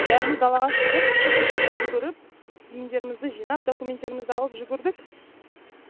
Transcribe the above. бәріміз далаға шығып жүгіріп киімдерімізді жинап документтерімізді алып жүгірдік